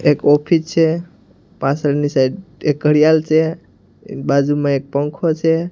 એક ઓફિચ છે પાછળની સાઈડ એક ઘડિયાલ છે બાજુમાં એક પંખો છે.